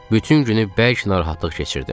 Bütün günü bərk narahatlıq keçirdim.